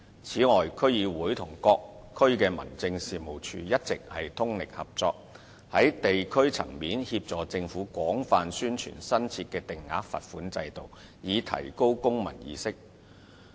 此外，區議會與各區民政處一直通力合作，在地區層面協助政府廣泛宣傳新設的定額罰款制度，以提高公民意識。